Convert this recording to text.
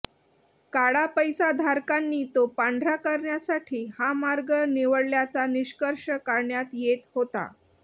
काळा पैसाधारकांनी तो पांढरा करण्यासाठी हा मार्ग निवडल्याचा निष्कर्ष काढण्यात येत होता